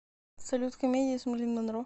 салют комедии с мерлин монро